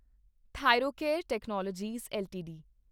Thyrocare technologies LTD